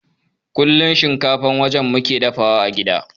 Kullun shinkafan waje muke dafawa a gida